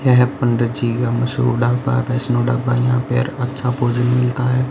यह है पंडित जी का मशहूर ढाबा वैष्णव ढाबा यहां पेर अच्छा भोजन मिलता है।